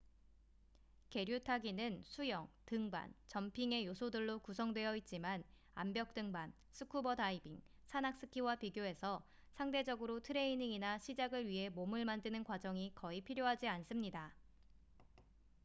계류 타기는 수영 등반 점핑의 요소들로 구성되어 있지만 암벽 등반 스쿠버 다이빙 산악 스키와 비교해서 상대적으로 트레이닝이나 시작을 위해 몸을 만드는 과정이 거의 필요하지 않습니다